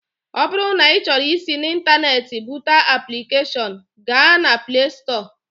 Ọ bụrụ na ị chọrọ isi n'Ịntaneetị bụdata aplikeshọn, gaa na Plee Stọọ